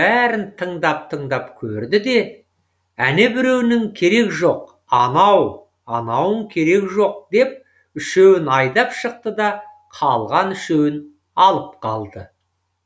бәрін тыңдап тыңдап көрді де әнебіреуінің керек жоқ анау анауың керек жоқ деп үшеуін айдап шықты да қалған үшеуін алып қалды